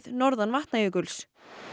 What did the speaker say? norðan Vatnajökuls